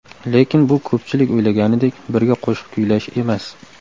Lekin bu ko‘pchilik o‘ylaganidek birga qo‘shiq kuylash emas.